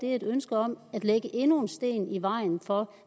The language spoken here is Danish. er et ønske om at lægge endnu en sten i vejen for